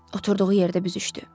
Oturduğu yerdə büzüşdü.